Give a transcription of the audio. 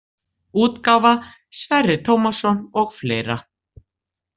útgáfa Sverrir Tómasson og fleira.